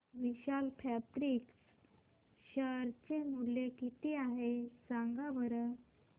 विशाल fabrics share चे मूल्य किती आहे सांगा बरं